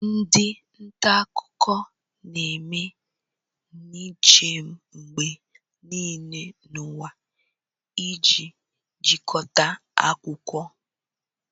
Ndị nta akụkọ na-eme njem mgbe niile n'ụwa iji chịkọta akụkọ